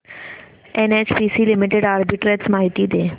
NHPC limited arbitrage माहिती दे